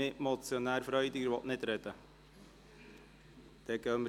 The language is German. – Mitmotionär Freudiger will nicht sprechen.